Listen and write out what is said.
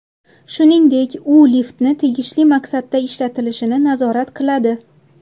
Shuningdek, u liftni tegishli maqsadda ishlatilishini nazorat qiladi.